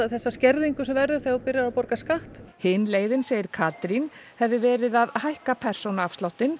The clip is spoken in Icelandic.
þessa skerðingu sem verður þegar þú byrjar að borga skatt hin leiðin segir Katrín hefði verið að hækka persónuafsláttinn